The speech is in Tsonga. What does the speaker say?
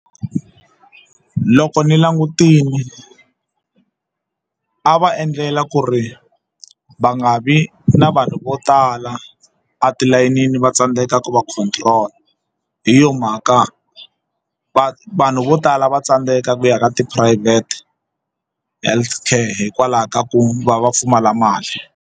Loko ni langutile a va endlela ku ri va nga vi na vanhu vo tala atilayenini va tsandzeka ku va control hi yo mhaka va vanhu vo tala va tsandzeka ku ya ka tiphurayivhete health care hikwalaho ka ku va va pfumala mali.